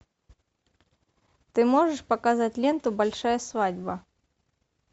ты можешь показать ленту большая свадьба